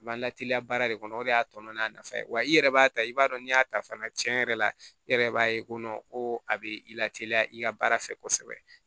B'an lateliya baara de kɔnɔ o de y'a tɔmɔ n'a nafa ye wa i yɛrɛ b'a ta i b'a dɔn n'i y'a ta fana cɛn yɛrɛ la i yɛrɛ b'a ye ko ko a bɛ i lateliya i ka baara fɛ kosɛbɛ